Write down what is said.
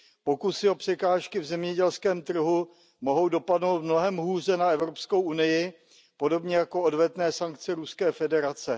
Pokusy o překážky v zemědělském trhu mohou dopadnout mnohem hůře na EU podobně jako odvetné sankce Ruské federace.